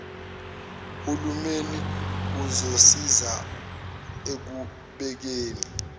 hulumeni uzosiza ekubekeni